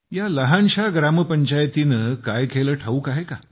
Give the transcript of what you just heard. या लहानशा ग्रामपंचायतीने काय केले ठाऊक आहे का